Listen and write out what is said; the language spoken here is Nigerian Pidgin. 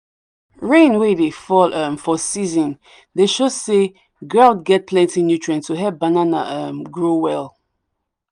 rain wey dey fall um for season dey show say ground get plenty nutrients to help banana um grow well.